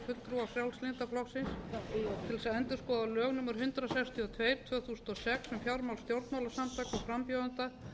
endurskoða lög númer hundrað sextíu og tvö tvö þúsund og sex um fjármál stjórnmálasamtaka og frambjóðenda